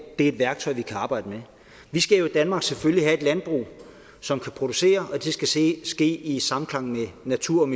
er et værktøj vi kan arbejde med vi skal jo i danmark selvfølgelig have et landbrug som skal producere og det skal ske ske i samklang med naturen